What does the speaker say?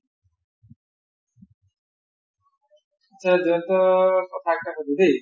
আচ্চা জয়ন্ত কথা এটা সোধো দেই